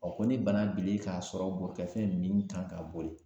ko ni bana bilen k'a sɔrɔ bolikɛfɛn min kan ka boli